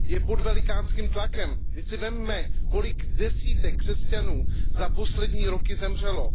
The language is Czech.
Je pod velikánským tlakem, vždyť si vezměte, kolik desítek křesťanů za poslední roky zemřelo.